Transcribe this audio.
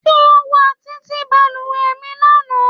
Ti o wa titi baluwe mi lana